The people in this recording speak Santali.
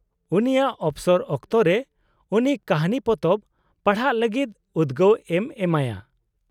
-ᱩᱱᱤᱭᱟᱜ ᱚᱯᱥᱚᱨ ᱚᱠᱛᱚᱨᱮ ᱩᱱᱤ ᱠᱟᱹᱦᱱᱤ ᱯᱚᱛᱚᱵ ᱯᱟᱲᱦᱟᱜ ᱞᱟᱹᱜᱤᱫ ᱩᱫᱜᱟᱹᱣ ᱮᱢ ᱮᱢᱟᱭᱟ ᱾